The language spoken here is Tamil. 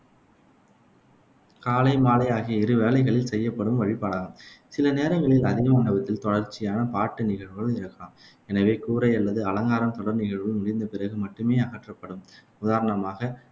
காலை மாலை ஆகிய இரு வேளைகளில் செய்யப்படும் வழிபாடாகும். சில நேரங்களில் அதே மண்டபத்தில் தொடர்ச்சியான பாட்டு நிகழ்வுகள் இருக்கலாம். எனவே கூரை அல்லது அலங்காரம் தொடர் நிகழ்வுகள் முடிந்தபிறகு மட்டுமே அகற்றப்படும். உதாரணமாக,